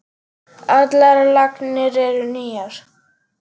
Allar lagnir eru nýjar.